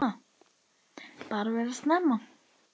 Bara vera saman.